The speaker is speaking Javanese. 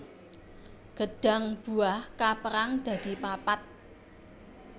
Gêdhang buah kapérang dadi papat